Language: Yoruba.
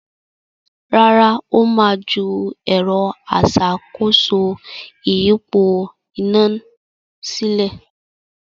Rárá, Ó ma ju “ẹ̀rọ aṣàkóso ìyípo iná” sílẹ̀